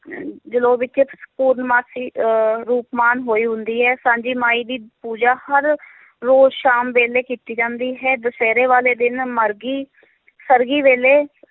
ਅਹ ਜਲੌ ਵਿੱਚ ਪੂਰਨਮਾਸੀ ਅਹ ਰੂਪਮਾਨ ਹੋਈ ਹੁੰਦੀ ਹੈ, ਸਾਂਝੀ ਮਾਈ ਦੀ ਪੂਜਾ ਹਰ ਰੋਜ਼ ਸ਼ਾਮ ਵੇਲੇ ਕੀਤੀ ਜਾਂਦੀ ਹੈ, ਦੁਸਹਿਰੇ ਵਾਲੇ ਦਿਨ, ਮਰਗੀ ਸਰਘੀ ਵੇਲੇ